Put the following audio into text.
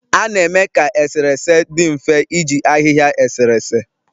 A na-eme ka eserese dị mfe iji ahịhịa eserese